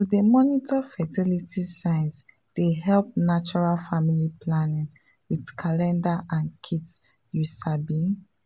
to dey monitor fertility signs dey help natural family planning with calendar and kits you sabi.